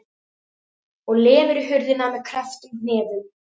Og lemur í hurðina með krepptum hnefum.